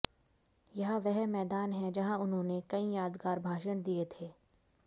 यह वह मैदान है जहां उन्होंने कई यादगार भाषण दिए थे